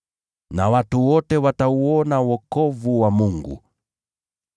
Nao watu wote watauona wokovu wa Mungu.’ ”